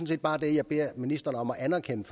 set bare det jeg beder ministeren om at anerkende